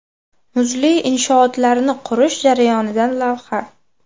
Muzli inshootlarni qurish jarayonidan lavha.